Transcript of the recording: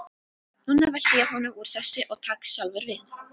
Núna velti ég honum úr sessi og tek sjálfur við.